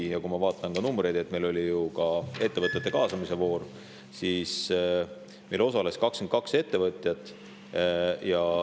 Ja numbritesse – meil oli ju ettevõtete kaasamise voor –, siis meil osales 22 ettevõtjat.